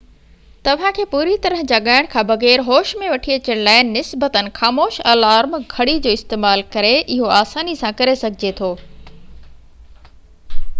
توهان کي پوري طرح جاڳائڻ کان بغير هوش ۾ وٺي اچڻ لاءِ نسبتاً خاموش الارم گهڙي جو استعمال ڪري اهو آساني سان ڪري سگهجي ٿو